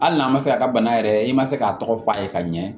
Hali n'a ma se a ka bana yɛrɛ i ma se k'a tɔgɔ f'a ye ka ɲɛ